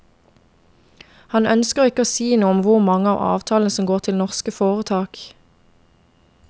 Han ønsker ikke å si noe om hvor mange av avtalene som går til norske foretak.